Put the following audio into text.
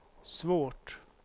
svårt